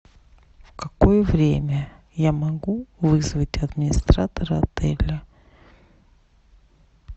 в какое время я могу вызвать администратора отеля